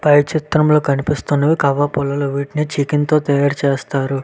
పై చిత్రం లొ కనిపిస్తున్నవి కవ పుల్లలు వీటిని చికెన్ తో తయారు చేస్తారు.